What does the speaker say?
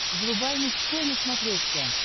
врубай мужской на смотрешке